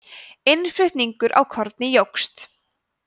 innflutningur á korni jókst